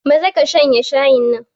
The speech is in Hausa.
Maza ka shanye shayin nan.